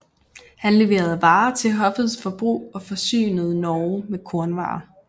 Han leverede varer til hoffets forbrug og forsynede Norge med kornvarer